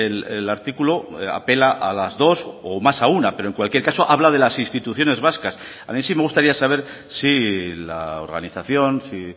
el artículo apela a las dos o más a una pero en cualquier caso habla de las instituciones vascas a mí sí me gustaría saber si la organización si